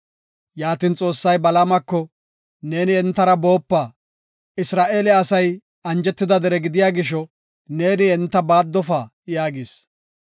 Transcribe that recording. Yaatin Xoossay Balaamako, “Neeni entara boopa; Isra7eele asay anjetida dere gidiya gisho, neeni enta baaddofa” yaagis.